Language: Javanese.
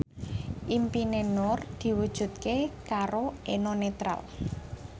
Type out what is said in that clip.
impine Nur diwujudke karo Eno Netral